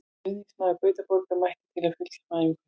Stuðningsmaður Gautaborgar mætti til að fylgjast með æfingunni.